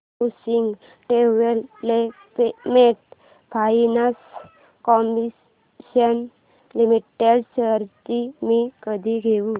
housing development finance corporation limited shares मी कधी घेऊ